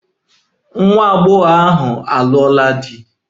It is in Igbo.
Nwa agbọghọ ahụ lụrụ di na nwunye.